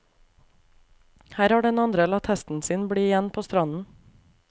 Her har den andre latt hesten sin bli igjen på stranden.